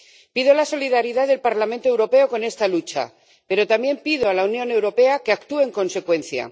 Pido la solidaridad del Parlamento Europeo con esta lucha, pero también pido a la Unión Europea que actúe en consecuencia.